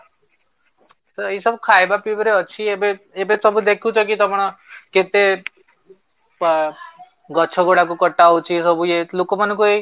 ତ ଏଇ ସବୁ ଖାଇବା ପିଇବାରେ ଅଛି ଏବେ ଏବେ ସବୁ ଦେଖୁଥିବ ତମର କେତେ ଗଛ ଗୁଡାକୁ କଟା ହଉଚି ସବୁ ଇଏ ଲୋକମାନଙ୍କୁ ଏଇ